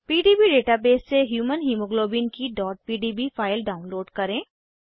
PDB database से human haemoglobin की pdb file download करें